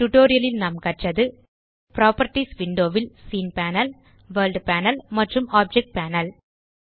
இந்த டியூட்டோரியல் ல் நாம் கற்றது புராப்பர்ட்டீஸ் விண்டோ ல் சீன் பேனல் வர்ல்ட் பேனல் மற்றும் ஆப்ஜெக்ட் பேனல்